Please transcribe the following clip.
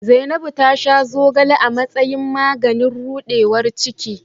Zainabu ta sha zogale a matsayin maganin rudewar ciki.